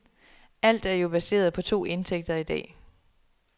Alt er jo baseret på to indtægter i dag.